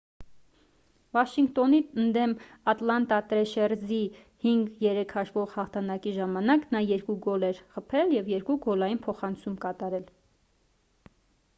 վաշինգտոնի ընդդեմ ատլանտա տրեշերզի 5-3 հաշվով հաղթանակի ժամանակ նա 2 գոլ էր խփել և 2 գոլային փոխանցում կատարել